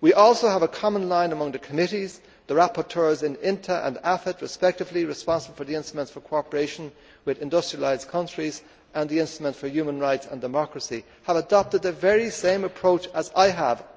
We also have a common line among the committees the rapporteurs in the Committee on International Trade and the Committee on Foreign Affairs respectively responsible for instruments for cooperation with industrialised countries and instruments for human rights and democracy have adopted the very same approach as I have.